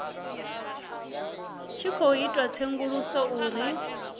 tshi khou itiwa tsedzuluso u